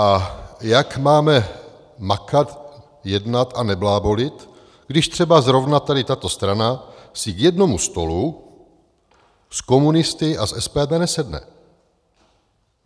A jak máme makat, jednat a neblábolit, když třeba zrovna tady tato strana si k jednomu stolu s komunisty a s SPD nesedne?